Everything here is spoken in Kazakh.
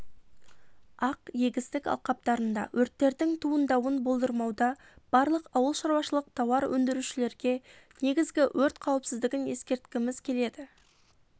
ақ егістік алқаптарында өрттердің туындауын болдырмауда барлық ауыл шаруашылық тауар өңдірушілерге негізгі өрт қауіпсіздігін ескерткіміз келеді